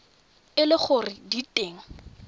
e le gore di teng